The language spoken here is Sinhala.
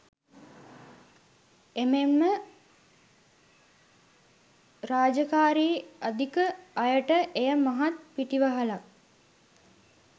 එමෙන්ම රාජකාරී අධික අයට එය මහත් පිටිවහලක්.